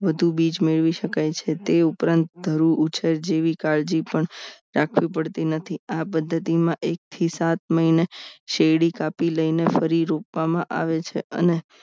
વધુ બીજ મેળવી શકાય છે તે ઉપરાંત ધરું ઉછેર જેવી કાળજી પણ રાખવી પડતી નથી આ પદ્ધતિમાં એક થી સાત મહિને શેરડી કાપી લઈને ફરી રૂપામાં આવે છે અને